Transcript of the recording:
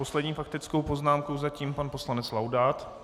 Poslední faktickou poznámku zatím pan poslanec Laudát.